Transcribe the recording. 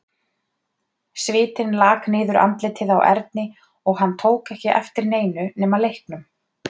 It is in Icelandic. Svitinn lak niður andlitið á Erni og hann tók ekki eftir neinu nema leiknum.